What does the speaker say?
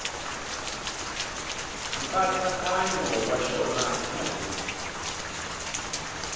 nkatsakanyo wa xona hi marito